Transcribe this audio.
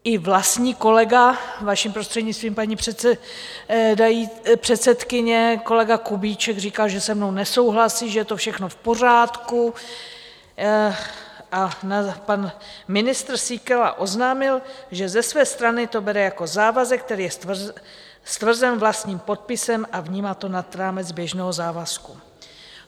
I vlastní kolega, vaším prostřednictvím, paní předsedkyně, kolega Kubíček, říkal, že se mnou nesouhlasí, že je to všechno v pořádku, a pan ministr Síkela oznámil, že ze své strany to bere jako závazek, který je stvrzen vlastním podpisem, a vnímá to nad rámec běžného závazku.